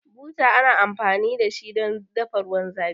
Buta ana amfani dashi don dafa ruwan zafi